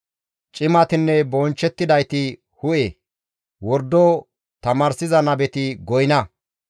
Cimatinne bonchchettidayti hu7e; wordo tamaarsiza nabeti goyna.